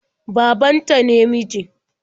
Baban ta ne mijin.